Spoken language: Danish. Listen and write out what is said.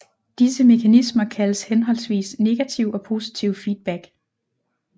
Disse mekanismer kaldes henholdsvis negativ og positiv feedback